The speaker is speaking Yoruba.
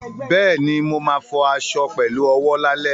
Bẹ́ẹ̀ni, mo ma fọ aṣọ fọ aṣọ pẹ̀lú owó lálẹ́